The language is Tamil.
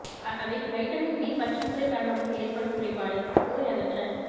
அவை வைட்டமின் பி பற்றாக்குறை காரணமாக ஏற்படும் குறைபாடு நோய் அகற்ற